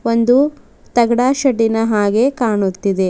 ಒಂದು ತಾಗ್ದ ಶೆಡ್ಡಿನ ಹಾಗೆ ಕಾಣುತ್ತಿದೆ.